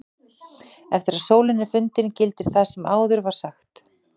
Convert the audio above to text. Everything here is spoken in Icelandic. Eftir að sólin er fundin gildir svo það sem áður var sagt.